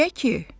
Niyə ki?